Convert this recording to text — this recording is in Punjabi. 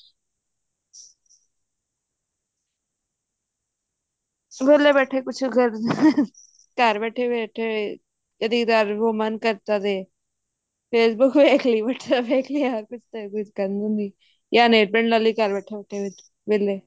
ਵੇਹਲੇ ਬੈਠੇ ਕੁਛ ਘਰ ਬੈਠੇ ਬੈਠੇ ਕਦੀ ਕ੍ਦਾਰ women ਕਰਤ ਦੇ Facebook ਦੇਖਲੀ whatsapp ਦੇਖਲੀ ਕੁਛ ਨਾ ਕੁਛ ਯਾ nail paint ਲਾਲੀ ਘਰ ਬੈਠੇ ਬੈਠੇ ਵੇਹਲੇ